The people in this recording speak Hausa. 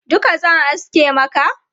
Duka zan aske maka?